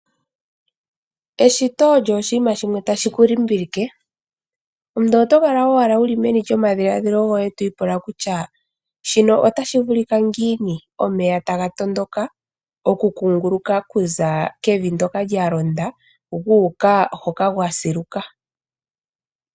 Eshito olyo oshinima shimwe tashi ku limbilike. Omuntu otokala owala wuli meni lyomadhiladhilo goye twi ipula kutya, shino otashi vulika ngiini, omeya taga tondoka okukunguluka okuza kevi ndyoka lya londa, gu uka hoka kwa siluka.